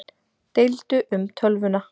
Deildu um tölvuna